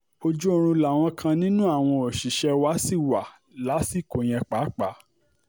ojú oorun làwọn kan nínú àwọn òṣìṣẹ́ wa ṣì wà lásìkò yẹn pàápàá